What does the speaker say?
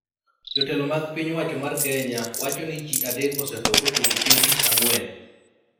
Jotelo mag piny owacho mar Kenya wacho ni ji adek osetho kochopo chieng' tich ang'wen